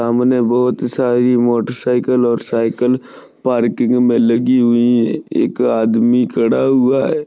सामने बहुत सारी मोटर सायकल और सायकल पार्किंग मे लगी हुई है एक आदमी खड़ा हुआ है।